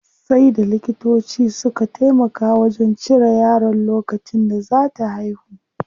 Sai da likitoci suka taimaka wajen cire yaron lokacin da zaa ta haihu.